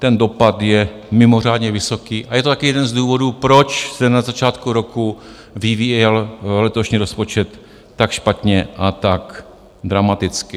Ten dopad je mimořádně vysoký a je to taky jeden z důvodů, proč se na začátku roku vyvíjel letošní rozpočet tak špatně a tak dramaticky.